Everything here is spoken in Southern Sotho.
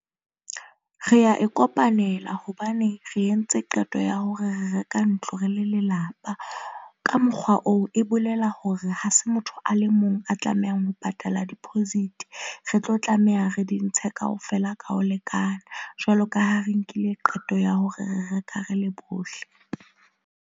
Re ya e kopanela hobane re entse qeto ya hore re reka ntlo, re le lelapa ka mokgwa oo, e bolela hore ha se motho a le a tlamehang ho patala deposit re tlo tlameha re di ntshe kaofela ka ho lekana jwalo ka ha re nkile qeto ya hore re reka re le bohle.